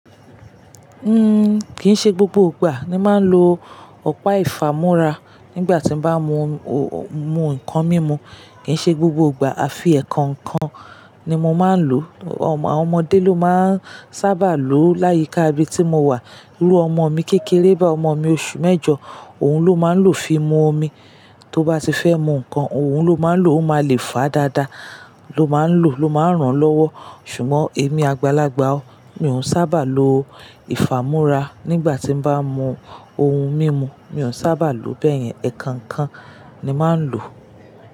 Uhm, kì í ṣe gbogbo ìgbà ni máa ń lo ọ̀pá ìfàmúrá nígbà tí bá mú ohun, mú nǹkan mímu. Kì í ṣe gbogbo ìgbà, àfi ẹ̀kankọ ni mo máa ń lò. Àwọn ọmọdé ló máa ń sábà lo láyika ibí tí mo wà. Irú ọmọ mi kékeré báyi ọmọ mi oṣù mẹ́jọ, òun ló máa ń lò fi mú omi. Tó bá ti fẹ́ mú nǹkan, òun ló máa ń lò, ó máa le fà dáadáa ló máa ń lò, ló máa ń ràn lọ́wọ́. Ṣùgbọ́n èmi àgbàlagbà ó, mi ò sábà lo ìfàmúrá nígbà tí bá mú ohun mímu. Mi ò sábà lo bẹ́ẹ̀ yẹn, ẹ̀kankan ni máa ń lò.